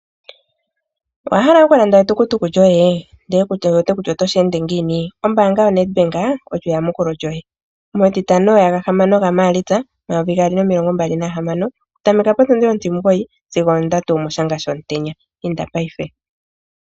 Owa hala okulanda etukutuku lyoye ndele ku wete kutya otoshi ende ngiini? Ombaanga yo NedBank olyo eyamukulo lyoye, metitano yagahamano ga Maalitsa omayovi gaali nomilongo mbali nahamano, okutameka potundi ontimugoyi sigo ondatu yomoshanga shomutenya. Inda paife.